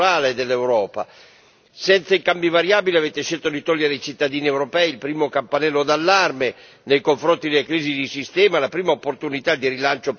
Senza il cambio variabile avete scelto di togliere ai cittadini europei il primo campanello d'allarme nei confronti della crisi di sistema e la prima opportunità di rilancio per le economie nei